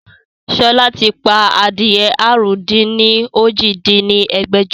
Sọlá ti pa adìyẹ àrún-dín-ní-ojì dín ní ẹgbẹ́jọ